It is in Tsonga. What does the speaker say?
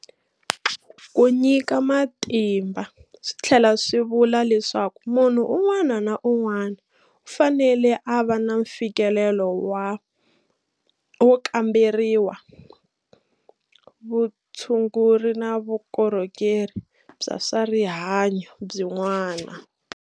Ku nyika matimba swi tlhela swi vula leswaku munhu un'wana na un'wana u fanele a va na mfikelelo wo kamberiwa, vutshunguri na vukorhokeri bya swa rihanyu byin'wana.